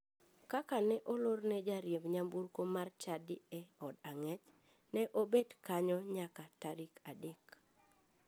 Kaka ne olorne jariemb nyamburko mar chadi e od ang'ech, ne obet kanyo nyaka tarik adek.